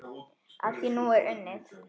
Að því er nú unnið.